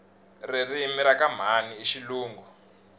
ririmi rakamhani ishilungu